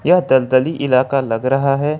यह दलदली इलाका लग रहा है।